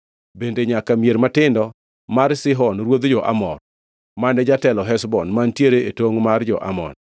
bende nyaka mier matindo mar Sihon ruodh jo-Amor, mane jatelo Heshbon, mantiere e tongʼ mar jo-Amon.